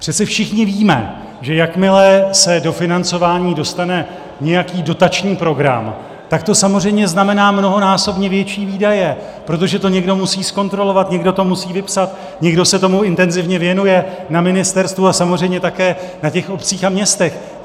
Přece všichni víme, že jakmile se do financování dostane nějaký dotační program, tak to samozřejmě znamená mnohonásobně větší výdaje, protože to někdo musí zkontrolovat, někdo to musí vypsat, někdo se tomu intenzivně věnuje na ministerstvu a samozřejmě také na těch obcích a městech.